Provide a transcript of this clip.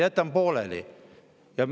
Jätan pooleli?